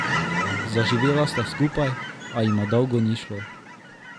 Zaživela sta skupaj, a jima dolgo ni šlo.